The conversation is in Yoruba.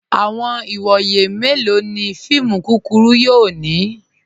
Awọn iwọye melọ ni fíìmù kúkúrù yóò ni?